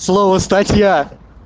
слово статья